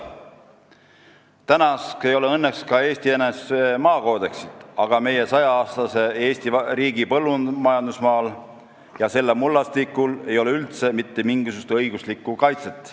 " Praeguseks ei ole õnneks ka Eesti NSV maakoodeksit, aga meie 100-aastase Eesti riigi põllumajandusmaal ja selle mullastikul ei ole üldse mitte mingisugust õiguslikku kaitset.